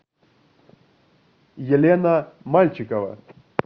елена мальчикова